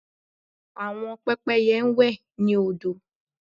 Àwọn pẹ́pẹ́yẹ ń wẹ̀ ní odò